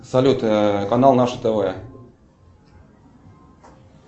салют канал наше тв